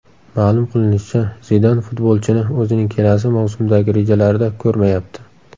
Ma’lum qilinishicha, Zidan futbolchini o‘zining kelasi mavsumdagi rejalarida ko‘rmayapti.